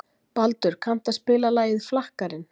Baldur, kanntu að spila lagið „Flakkarinn“?